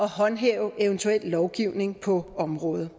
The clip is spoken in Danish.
håndhæve eventuel lovgivning på området